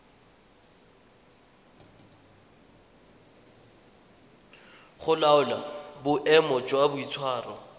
go laola boemo jwa boitshwaro